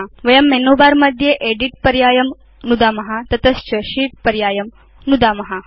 अथ वयं menu bar मध्ये एदित् पर्यायं नुदाम तत च शीत् पर्यायं नुदाम